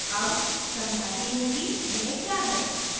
अब समझाती हूँ कि यह क्या है